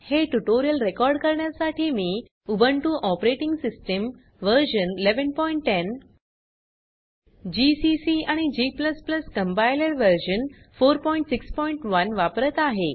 हे tutorial record करण्यासाठी मी Ubuntu operating system version 1110 GCC आणि g कंपाइलर व्हर्शन 461 वापरत आहे